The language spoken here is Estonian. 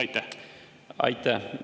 Aitäh!